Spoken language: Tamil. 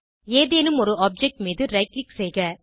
ஏதேனும் ஒரு ஆப்ஜெக்ட் மீது ரைட் க்ளிக் செய்க